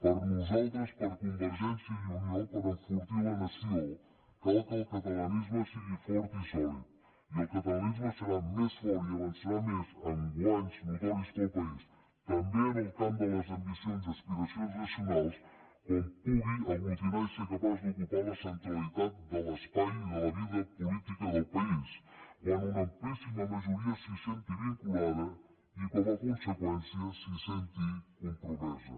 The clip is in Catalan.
per nosaltres per convergència i unió per enfortir la nació cal que el catalanisme sigui fort i sòlid i el catalanisme serà més fort i avançarà més amb guanys notoris per al país també en el camp de les ambicions i aspiracions nacionals quan pugui aglutinar i ser capaç d’ocupar la centralitat de l’espai i de la vida política del país quan una amplíssima majoria s’hi senti vinculada i com a conseqüència s’hi senti compromesa